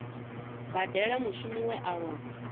badela mushumi we a lova